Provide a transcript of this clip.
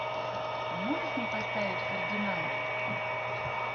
а можешь мне поставить фердинанд